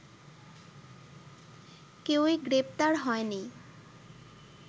কেউই গ্রেপ্তার হয়নি